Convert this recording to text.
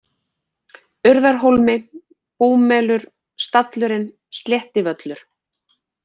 Urðarhólmi, Búmelur, Stallurinn, Sléttivöllur